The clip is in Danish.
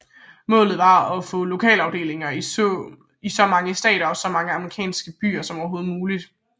Målet var at få lokalafdelinger i så mange stater og så mange amerikanske byer som overhovedet muligt